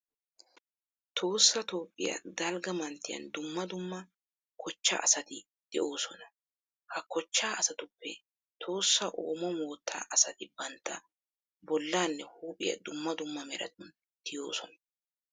Tohossa toophphiya dalgga manttiyan dumma dumma kochchaa asati de'oosona. Ha kochchaa asatuppe Tohossa oomo moottaa asati bantta bollaanne huuphiya dumma dumma meratun tiyoosona.